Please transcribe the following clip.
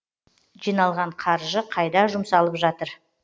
жиналған қаржы қайда жұмсалып жатыр